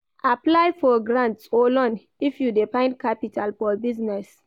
Apply for grants or loan if you de find capital for business